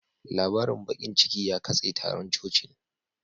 Labarin bakin ciki ya katse taron cocin